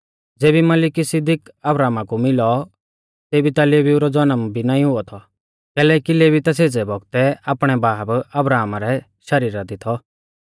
ज़ेबी मलिकिसिदक अब्राहमा कु मिलौ तेबी ता लेवीऊ रौ ज़नम भी नाईं हुऔ थौ कैलैकि लेवी ता सेज़ै बौगतै आपणै बाब अब्राहमा रै शरीरा दी थौ